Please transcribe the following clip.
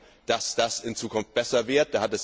Wir hoffen, dass das in Zukunft besser wird.